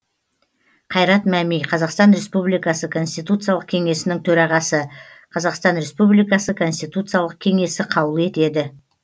қайрат мәми қазақстан республикасы конституциялық кеңесінің төрағасы қазақстан республикасы конституциялық кеңесі қаулы етеді